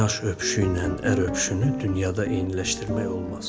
Oynaş öpüşüynən ər öpüşünü dünyada eyniləşdirmək olmaz.